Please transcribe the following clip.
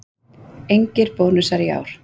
Engir bónusar í ár